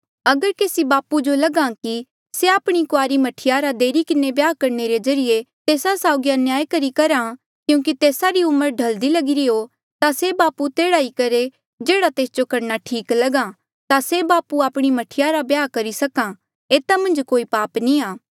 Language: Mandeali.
अगर केसी बापू जो लगहा कि से आपणी कुआरी मह्ठी रा देरी किन्हें ब्याह करणे रे ज्रीए तेस्सा साउगी अन्याय करी करहा क्यूंकि तेस्सा री उम्र ढलदी लगिरी हो ता से बापू तेह्ड़ा ही करहे जेह्ड़ा तेस जो करणा ठीक लगहा ता से बापू आपणी मह्ठी रा ब्याह करी सक्हा एता मन्झ कोई पाप नी आ